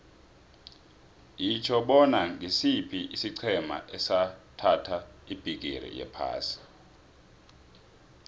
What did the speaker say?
yitjho bona ngisiphi isiqhema esathatha ibhigiri yephasi